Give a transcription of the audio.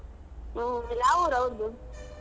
ಹ್ಮ ಯಾವ್ ಊರ್ ಅವ್ರ್ದು ?